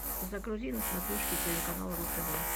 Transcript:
загрузи на смотрешке телеканал ру тв